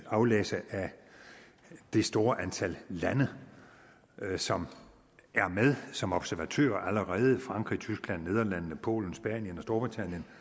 aflæse af det store antal lande som er med som observatører allerede frankrig tyskland nederlandene polen spanien og